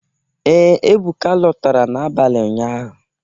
Ee, Ebụka lọtara n'abalị ụnyaahụ